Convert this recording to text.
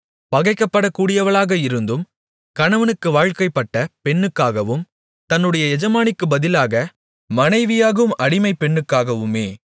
பகைக்கப்படக்கூடியவளாக இருந்தும் கணவனுக்கு வாழ்க்கைப்பட்ட பெண்ணுக்காகவும் தன்னுடைய எஜமானிக்குப் பதிலாக மனைவியாகும் அடிமைப் பெண்ணுக்காகவுமே